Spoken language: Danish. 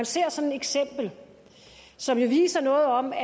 ser sådan et eksempel som jo viser noget om at